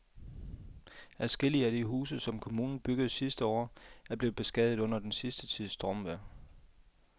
Adskillige af de huse, som kommunen byggede sidste år, er blevet beskadiget under den sidste tids stormvejr.